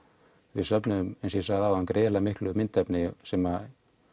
við söfnuðum eins og ég sagði áðan gríðarlega miklu myndefni sem